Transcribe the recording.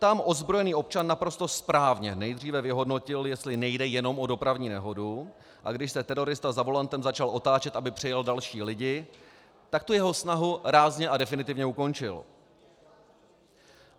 Tam ozbrojený občan naprosto správně nejdříve vyhodnotil, jestli nejde jenom o dopravní nehodu, a když se terorista za volantem začal otáčet, aby přejel další lidi, tak tu jeho snahu rázně a definitivně ukončil.